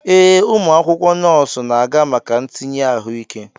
Ee, ụmụ akwụkwọ nọọsụ na-aga maka ntinye ahụike.